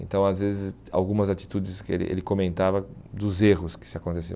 Então, às vezes, algumas atitudes que ele ele comentava, dos erros que se aconteciam.